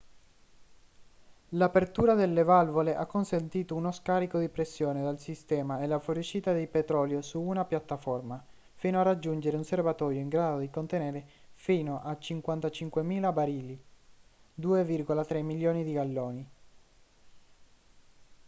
l'apertura delle valvole ha consentito uno scarico di pressione dal sistema e la fuoriuscita di petrolio su una piattaforma fino a raggiungere un serbatoio in grado di contenerne fino a 55.000 barili 2,3 milioni di galloni